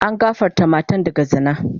An gafarta matan daga zina.